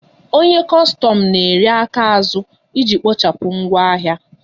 Onye kostom na eri aka azụ iji kpochapụ ngwa ahịa